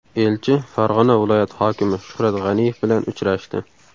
Elchi Farg‘ona viloyati hokimi Shuhrat G‘aniyev bilan uchrashdi.